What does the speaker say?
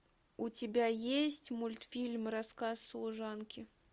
у тебя есть мультфильм рассказ служанки